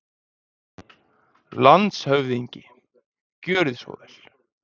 LANDSHÖFÐINGI: Gjörið svo vel.